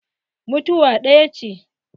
Mutuwa ɗaya ce.